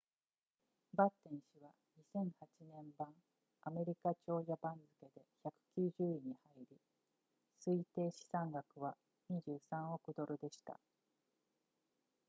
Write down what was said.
バッテン氏は2008年版アメリカ長者番付で190位に入り推定資産額は23億ドルでした